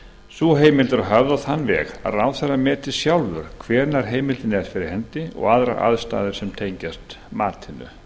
höfð á þann veg að ráðherra meti sjálfur hvenær heimildin er fyrir hendi og aðrar aðstæður sem tengjast matinu